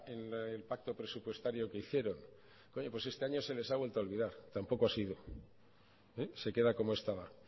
en el pacto presupuestario que hicieron oye pues este año se les ha vuelto a olvidar tampoco ha sido se queda como estaba